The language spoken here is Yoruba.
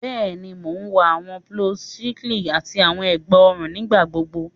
Bẹẹni, Mo wọ awọn blouses siliki ati awọn egba ọrun nigbagbogbo